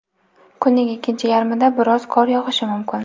kunning ikkinchi yarmida biroz qor yog‘ishi mumkin.